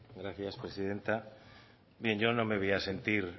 gracias presidenta bien yo no me voy a sentir